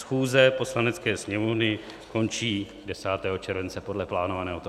Schůze Poslanecké sněmovny končí 10. července podle plánovaného toho.